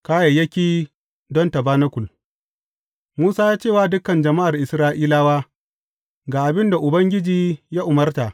Kayayyaki don tabanakul Musa ya ce wa dukan jama’ar Isra’ilawa, Ga abin da Ubangiji ya umarta.